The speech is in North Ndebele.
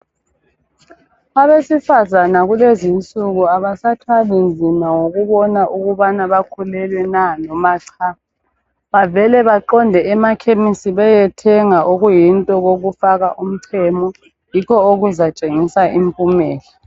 Abesifazane kulezi insuku abasathwalinzima ngokubona ukubana bakhulelwe na noma cha. Bavele baqonde emakhemisi beyethenga okuyinto okokufaka umchemo, yikho okuzatshengisa impumela